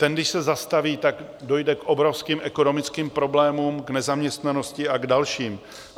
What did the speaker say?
Ten když se zastaví, tak dojde k obrovským ekonomickým problémům, k nezaměstnanosti a k dalším.